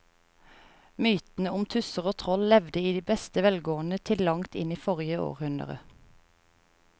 Mytene om tusser og troll levde i beste velgående til langt inn i forrige århundre.